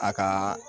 A ka